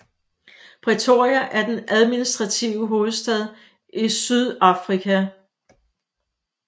Pretoria er den administrative hovedstad i Sydafrika